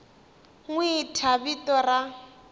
n wi thya vito ra